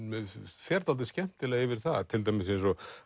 fer dálítið skemmtilega yfir það til dæmis eins og